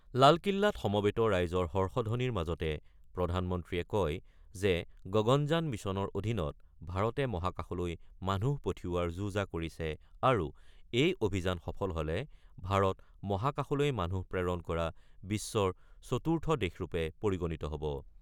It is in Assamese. লালকিল্লাত সমৱেত ৰাইজৰ হৰ্ষধবনিৰ মাজতে প্ৰধানমন্ত্ৰীয়ে কয় যে গগনযান মিছনৰ অধীনত ভাৰতে মহাকাশলৈ মানুহ পঠিওৱাৰ যো-জা কৰিছে আৰু এই অভিযান সফল হ'লে ভাৰত মহাকাশলৈ মানুহ প্ৰেৰণ কৰা বিশ্বৰ চতুৰ্থ দেশৰূপে পৰিগণিত হ'ব।